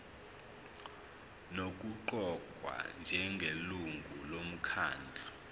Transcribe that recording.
nokuqokwa njengelungu lomkhandlu